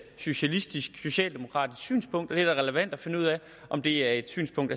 socialistisk socialdemokratisk synspunkt er da relevant at finde ud af om det er et synspunkt